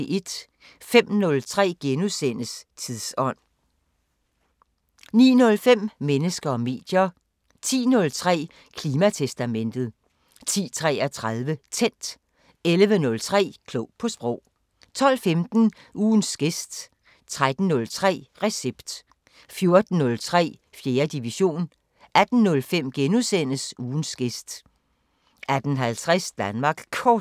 05:03: Tidsånd * 09:05: Mennesker og medier 10:03: Klimatestamentet 10:33: Tændt 11:03: Klog på sprog 12:15: Ugens gæst 13:03: Recept 14:03: 4. division 18:05: Ugens gæst * 18:50: Danmark Kort